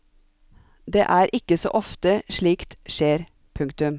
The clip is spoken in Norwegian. Det er ikke så ofte slikt skjer. punktum